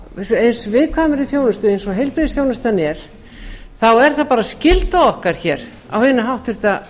á eins viðkvæmri þjónustu eins og heilbrigðisþjónustan er þá er það bara skylda okkar hér á hinu háttvirta